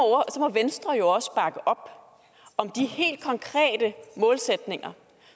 venstre jo også bakke op om om de helt konkrete målsætninger